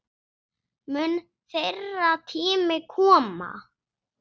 Mun þeirra tími koma?